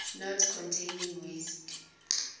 not containing waste